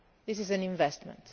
This is an investment.